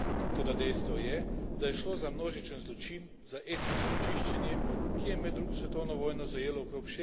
Toda dejstvo je, da je šlo za množičen zločin, za etnično čiščenje, ki je med drugo svetovno vojno zajelo okrog